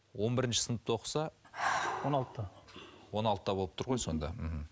он бірінші сыныпта оқыса он алтыда он алтыда болып тұр ғой сонда мхм